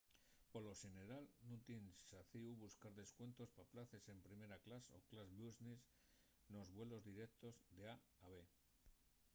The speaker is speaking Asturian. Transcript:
polo xeneral nun tien xacíu buscar descuentos pa places en primera clas o clas business nos vuelos direutos d’a a b